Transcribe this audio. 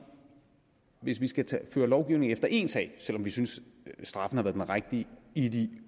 hvis vi skal lave lovgivning efter én sag selv om vi synes straffen har været den rigtige i de